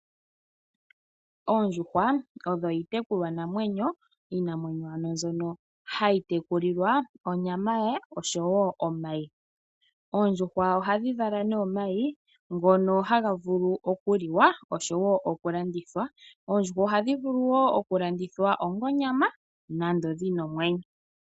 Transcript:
Oondjuhwa, odho iitekulwa namwenyo, iinamwenyo ano mbyono hayi tekulilwa, onyama yawo, oshowo omayi. Oondjuhwa ohadhi vala nee omayi ngono haga vulu okuliwa, oshowo okulandithwa, oondjuhwa ohadhi vulu wo okulandithwa onga onyama, nando dhina omwenyo.